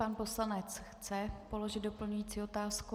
Pan poslanec chce položit doplňující otázku.